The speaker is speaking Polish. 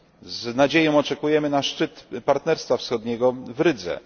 Z nadzieją oczekujemy szczytu Partnerstwa Wschodniego w Rydze.